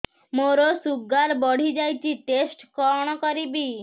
ମୋର ଶୁଗାର ବଢିଯାଇଛି ଟେଷ୍ଟ କଣ କରିବି